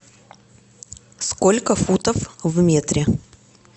сколько футов в метре